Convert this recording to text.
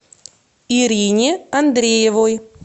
ирине андреевой